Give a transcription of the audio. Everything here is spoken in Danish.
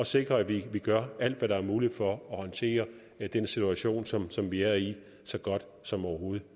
sikre at vi gør alt hvad der er muligt for at håndtere den situation som som vi er i så godt som overhovedet